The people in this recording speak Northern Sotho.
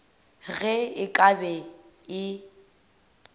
ge e ka be e